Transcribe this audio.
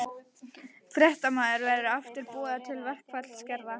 Fréttamaður: Verður aftur boðað til verkfallsaðgerða?